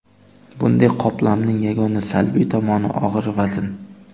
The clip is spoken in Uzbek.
Bunday qoplamning yagona salbiy tomoni og‘ir vazn.